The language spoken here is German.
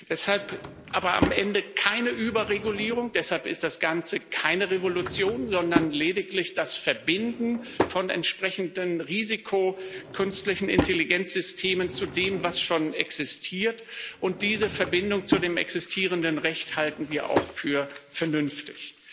Deshalb aber gibt es am Ende keine Überregulierung, deshalb ist das Ganze keine Revolution, sondern lediglich das Verbinden von entsprechenden risikoreichen künstlichen Intelligenzsystemen zu dem, was schon existiert, und diese Verbindung zu dem existierenden Recht halten wir auch für vernünftig.